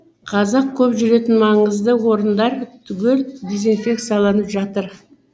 қазақ көп жүретін маңызды орындар түгел дезинфекцияланып жатыр